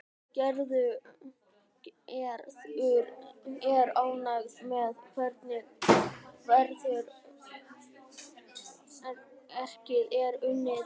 Gerður er ánægð með hvernig verkið er unnið.